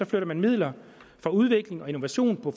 flytter man midler fra udvikling og innovation på